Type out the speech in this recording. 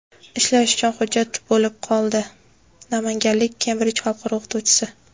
ishlash uchun hujjat bo‘lib qoldi - namanganlik Kembrij xalqaro o‘qituvchisi.